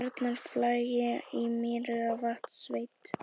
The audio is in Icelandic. Bjarnarflagi í Mývatnssveit.